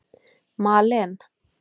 Malen